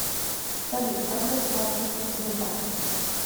салют как расплачиваться в бутане